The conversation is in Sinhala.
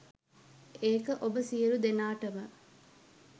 ඒක ඔබ සියලු දෙනාටම